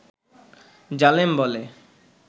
জালেম বলে